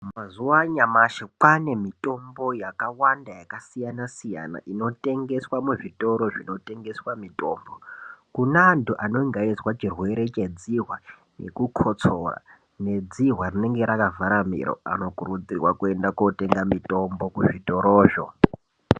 Mazuva anyamashi kwane mitombo yakawanda yakasiyana -siyana, inotengeswa muzvitoro zvinotengeswa mutombo. Kune antu anenge eizwa chirwere chedzihwa nekukotsora nedzihwa rinenge rakavhara miro anokurudzirwa kwenda kotenga mitombo kuzvitoro zvo.